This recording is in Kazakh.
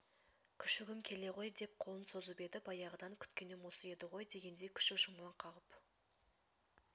күшігім келе ғой деп қолын созып еді баяғыдан күткенім осы еді ғой дегендей күшік жылмаң қағып